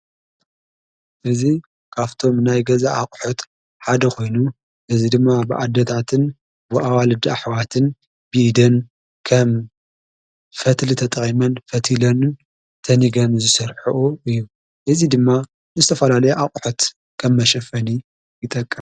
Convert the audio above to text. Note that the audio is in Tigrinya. እዙ ካፍቶም ናይ ገዛ ኣቝሖት ሓደ ኾይኑ እዙይ ድማ ብኣደታትን ወኣዋልዲ ኣኅዋትን ብኢደን ከም ፈትሊ ተጠይመን ፈቲለንን ተኒገን ዙሰርሕኦ እዩ እዙይ ድማ ንስተፋናለይ ኣቝሐት ከብ መሸፈኒ ይጠቅም።